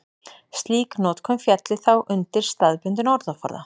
slík notkun félli þá undir staðbundinn orðaforða